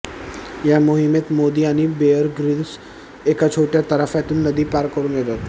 या मोहिमेत मोदी आणि बेअर ग्रिल्स एका छोट्या तराफ्यातून नदी पार करून येतात